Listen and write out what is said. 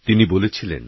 তিনি বলেছিলেন